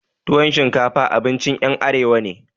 Tuwan shinkafa abincin ƴan arewa ne